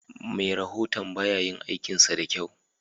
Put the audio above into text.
Me rahoton bayayin aikinsa dakyau.